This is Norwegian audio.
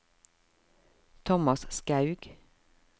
Tomas Skaug